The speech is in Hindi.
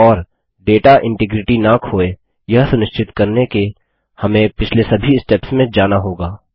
और डेटा इन्टिग्रिटी न खोये यह सुनिश्चित करने के हमें पिछले सभी स्टेप्स में जाना होगा